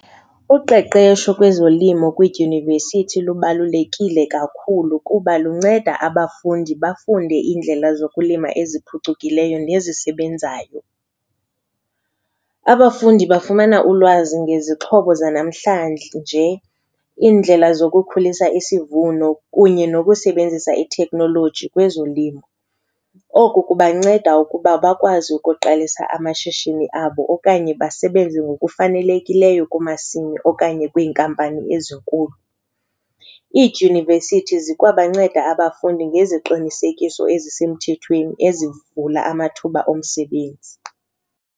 Uqeqesho kwezolimo kwiidyunivesithi lubalulekile kakhulu kuba lunceda abafundi bafunde iindlela zokulima eziphucukileyo nezisebenzayo. Abafundi bafumana ulwazi ngezixhobo zanamhlanje nje, indlela zokukhulisa isivuno kunye nokusebenzisa ithekhnoloji kwezolimo. Oku kubanceda ukuba bakwazi ukuqalisa amashishini abo okanye basebenze ngokufanelekileyo kumasimi okanye kwiinkampani ezinkulu. Iidyunivesithi zikwabanceda abafundi ngeziqinisekiso ezisemthethweni ezivula amathuba omsebenzi.